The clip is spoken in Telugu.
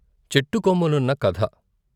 చెట్టుకొమ్మలున్న కథ